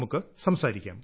പ്രകാശ് ജി നമസ്കാരം